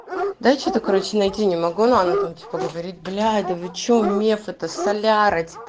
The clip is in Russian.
да что-то короче найти не могу но она там типо говорит блять да вы что мне меф это соляра